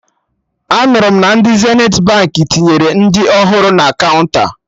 Anụrụ m na ndị Zenithi Baankị tinyere ndị ọhụrụ na kaụnta